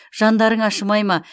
жандарың ашымай ма